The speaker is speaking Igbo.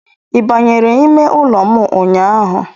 Ị banyere ime ụlọ m ụnyaahụ?